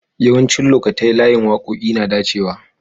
Yawancin lokatai layin wakoki na dacewa.